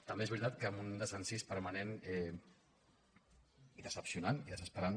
també és veritat que amb un desencís permanent i decebedor i desesperant